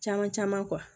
Caman caman